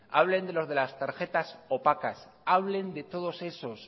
hablen de los de las tarjetas opacas hablen de todos esos